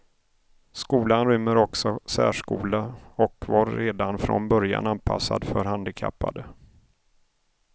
Skolan rymmer också särskola och var redan från början anpassad för handikappade.